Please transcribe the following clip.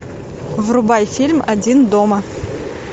врубай фильм один дома